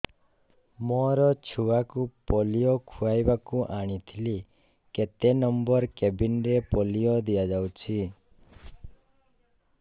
ମୋର ଛୁଆକୁ ପୋଲିଓ ଖୁଆଇବାକୁ ଆଣିଥିଲି କେତେ ନମ୍ବର କେବିନ ରେ ପୋଲିଓ ଦିଆଯାଉଛି